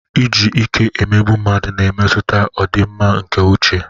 Iji ike emegbu mmadụ na-emetụta ọdịmma nke uche.